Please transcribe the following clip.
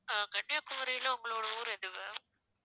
ஆஹ் கன்னியாகுமரியில உங்களோட ஊர் எது ma'am